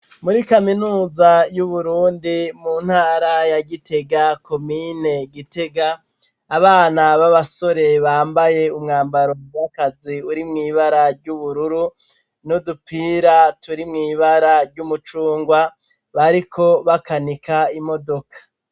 Muri kaminuza y'uburundi mu ntara ya gitega komine gitega abana b'abasore bambaye umwambaro mumukazi uri mw'ibara ry'ubururu nudupira turi mw'ibara ry'umucungwa bariko bakanika imodoka.